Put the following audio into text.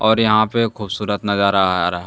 और यहां पे खूबसूरत नजारा आ रहा--